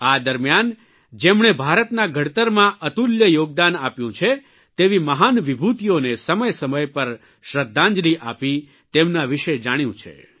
આ દરમ્યાન જેમણે ભારતના ઘડતરમાં અતુલ્ય યોગદાન આપ્યું છે તેવી મહાન વિભૂતીઓને સમયસમય પર શ્રદ્ધાંજલિ આપી તેમના વિષે જાણ્યું છે